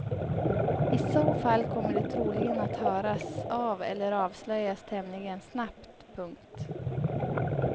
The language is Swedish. I så fall kommer de troligen att höras av eller avslöjas tämligen snabbt. punkt